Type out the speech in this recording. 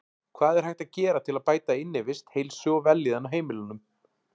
Hvað er hægt að gera til að bæta innivist, heilsu og vellíðan á heimilum?